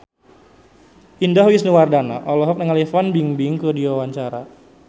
Indah Wisnuwardana olohok ningali Fan Bingbing keur diwawancara